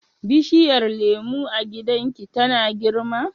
bishiyar lemu a gidan ki tana girma?